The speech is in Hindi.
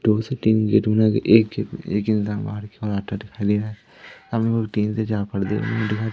दो से तीन गेट बनाके सामने तीन से चार पर्दे दिखाई--